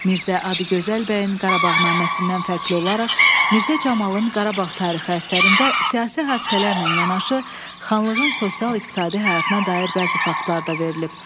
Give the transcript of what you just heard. Mirzə Adıgözəl bəyin Qarabağnaməsindən fərqli olaraq Mirzə Camalın Qarabağ tarixi əsərində siyasi hadisələrlə yanaşı xanlığın sosial-iqtisadi həyatına dair bəzi faktlar da verilib.